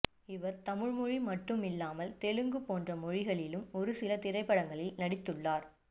இவர் தமிழ்மொழி மட்டுமில்லாமல் தெலுங்கு போன்ற மொழிகளிலும் ஒரு சில திரைப்படங்களில் நடித்துள்ளார்